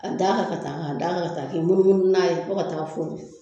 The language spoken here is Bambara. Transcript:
A da kan ka taa, k'a dan kan ka taa k'i munumunu n'a ye fo ka taa fori